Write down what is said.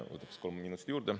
Võtaks kolm minutit juurde.